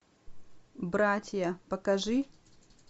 братья покажи